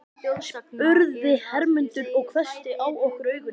spurði Hermundur og hvessti á okkur augun.